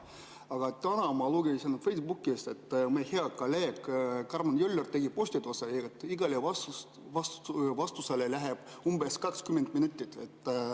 Aga täna ma lugesin Facebookist, meie hea kolleeg Karmen Joller tegi postituse, et iga vastuse peale läheb umbes 20 minutit.